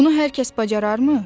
Bunu hər kəs bacararmı?